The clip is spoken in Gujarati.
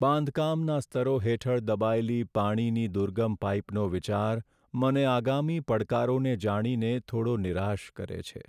બાંધકામના સ્તરો હેઠળ દબાયેલી પાણીની દુર્ગમ પાઈપનો વિચાર મને આગામી પડકારોને જાણીને થોડો નિરાશ કરે છે.